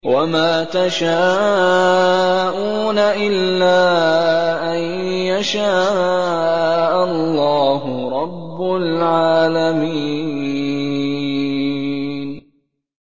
وَمَا تَشَاءُونَ إِلَّا أَن يَشَاءَ اللَّهُ رَبُّ الْعَالَمِينَ